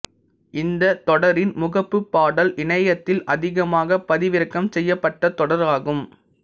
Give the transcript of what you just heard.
இந்த தொடரின் முகப்பு பாடல் இணையத்தில் அதிகமாக பதிவிறக்கம் செய்யப்பட்ட தொடர் ஆகும்